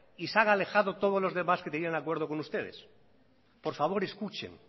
y se han alejado todos los demás que tenían acuerdo con ustedes por favor escuchen